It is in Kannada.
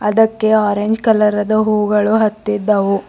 ಇದಕ್ಕೆ ಆರೆಂಜ್ ಕಲರ್ ಅದ ಹೂವುಗಳು ಅತ್ತಿದ್ದವು.